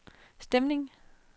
stemningen